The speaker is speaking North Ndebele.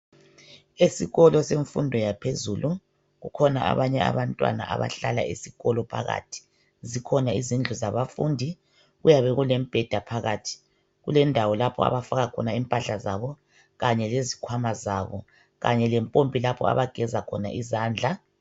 Esikolo semfundo yaphezulu kukhona abanye abantwana abahlala esikolo phakathi, zikhona izindlu zabafundi kuyabe kulemibheda phakathi, kulendawo lapha abafaka khona impahla zabo Kanye lezikhwama zabo kanye lempompi lapho abageza khona izandla.